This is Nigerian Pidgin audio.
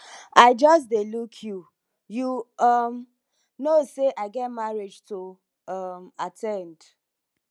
i just dey look you you um no knowsay i get marriage to um at ten d